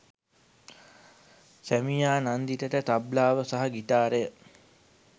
සැමියා නන්දිතට තබ්ලාව සහ ගිටාරය